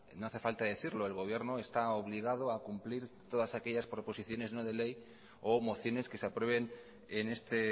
no hace falta decirlo el gobierno está obligado a cumplir todas aquellas proposiciones no de ley o mociones que se aprueben en este